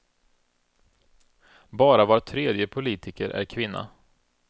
Bara var tredje politiker är kvinna.